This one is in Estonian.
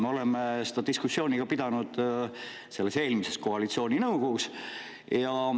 Me pidasime seda diskussiooni ju eelmises koalitsiooninõukogus.